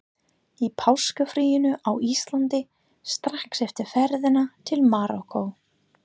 Í páskafríinu á Íslandi, strax eftir ferðina til Marokkó.